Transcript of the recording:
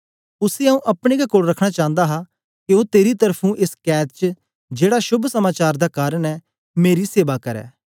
उसी आऊँ अपने गै कोल रखना चांदा हा के ओ तेरी त्र्फुं एस कैद च जेड़ा शोभ समाचार दा कारन ऐ मेरी सेवा करै